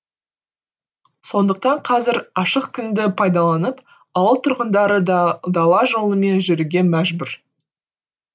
сондықтан қазір ашық күнді пайдаланып ауыл тұрғындары дала жолымен жүруге мәжбүр